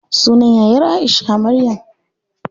Sunan yayar Aisha, Maryam.